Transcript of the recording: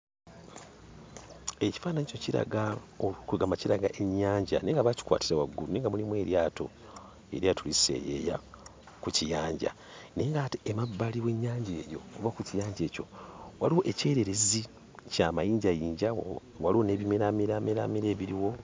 Ekifaananyi kino kiraga, kweggamba kiraga ennyanja naye nga baakikwatira waggulu naye nga mulimu eryato, eryato liseeyeeya ku kiyanja. Naye ng'ate emabbali w'ennyanja eyo oba ku kiyanja ekyo, waliwo ekyererezi kya mayinjayinja, waliwo n'ebimeraamera ebiriwo.